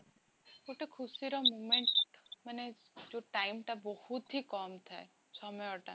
ଗୋଟେ ଖୁସିର moment, ମାନେ ଯୋଉ time ଟା ବହୁତ ହିଁ କମ ଥାଏ, ସମୟଟା